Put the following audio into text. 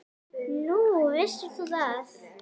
Nú, vissir þú það?